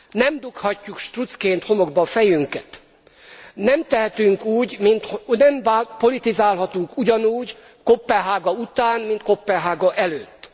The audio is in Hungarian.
Nem dughatjuk struccként homokba a fejünket. Nem tehetünk úgy, nem politizálhatunk ugyanúgy Koppenhága után, mint Koppenhága előtt.